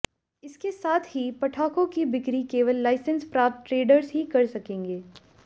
इसके साथ ही पटाखों की बिक्री केवल लाइसेंस प्राप्त ट्रेडर्स ही कर सकेंगे